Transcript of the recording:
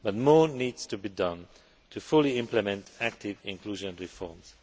But more needs to be done to fully implement active inclusion reforms.